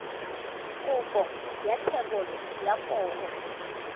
kopo ya thebolo ya poo